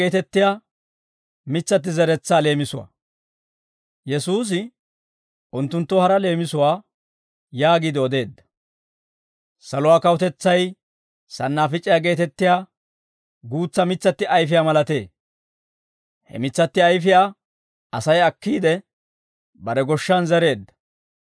Yesuusi unttunttoo hara leemisuwaa yaagiide odeedda; «Saluwaa kawutetsay sannaafic'iyaa geetettiyaa guutsa mitsatti ayfiyaa malatee; he mitsatti ayfiyaa Asay akkiide, bare goshshan zereedda.